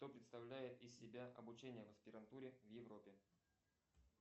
что представляет из себя обучение в аспирантуре в европе